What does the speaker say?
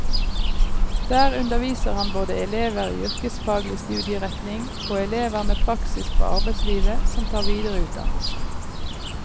Der underviser han både elever i yrkesfaglig studieretning, og elever med praksis fra arbeidslivet, som tar videreutdannelse.